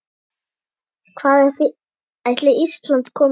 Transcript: Hvað ætli Ísland komist langt?